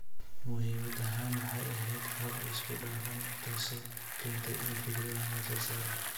Muhiimad ahaan, waxay ahayd habab isku dhafan taasoo keentay in fikradahan la soo saaro.